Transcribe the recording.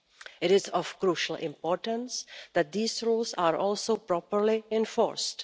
It is of crucial importance that these rules are also properly enforced.